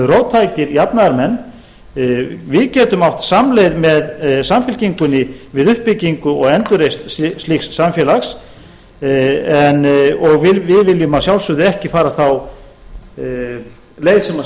róttækir jafnaðarmenn gætum átt samleið með samfylkingunni við uppbyggingu og endurreisn slíks samfélags og við viljum að sjálfsögðu ekki fara þá leið sem